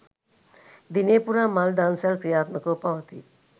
දිනය පුරා මල් දන්සැල් ක්‍රියාත්මකව පවතී